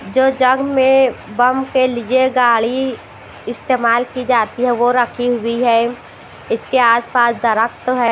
जो जग में बम के लिए गाड़ी इस्तेमाल की जाती है वह रखी हुई है इसके आसपास दरख्त है।